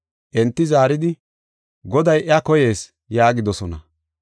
Enti zaaridi, “Goday iya koyees” yaagidosona.